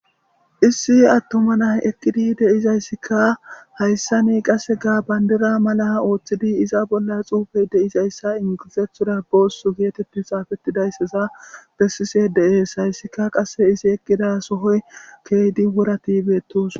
issi attuma nay ekkidi deizayssikka hayssa ni qasse gaa bayndira mala ooththidi iza bolla xuufey deizayssa ingizethuda boossu geetetti xaafettidayssaza bessise de7ees hayssika qasse izi eqqida sohoy keeydi wuratibeettus